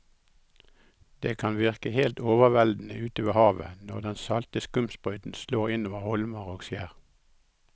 Det kan virke helt overveldende ute ved havet når den salte skumsprøyten slår innover holmer og skjær.